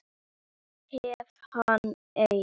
Hef hann enn.